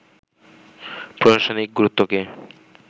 প্রশাসনিক গুরুত্বকে